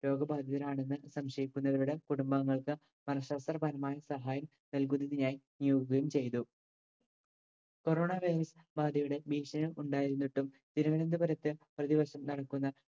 രോഗബാധിതരാണെന്ന് സംശയിക്കുന്നവരുടെ കുടുംബാംഗങ്ങൾക്ക് മനഃശാസ്ത്ര പരമായി സഹായം നൽകുന്നതിനായി നിയോഗിക്കുകയും ചെയ്തു corona virus ബാധയുടെ ഭീഷണി ഉണ്ടായിരുന്നിട്ടും തിരുവനന്തപുരത്തെ പ്രതിപക്ഷം നടത്തുന്ന